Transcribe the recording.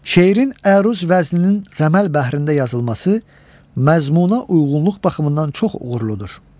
Şeirin əruz vəzninin rəməl bəhrində yazılması məzmununa uyğunluq baxımından çox uğurludur.